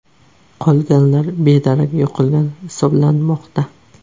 Qolganlar bedarak yo‘qolgan hisoblanmoqda.